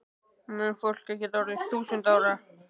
Mun fólk geta orðið þúsund ára?